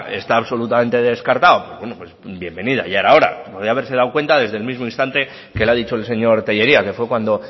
está absolutamente descartado bienvenida ya era hora podría haberse dado cuenta desde el mismo instante que le ha dicho el señor tellería que fue cuando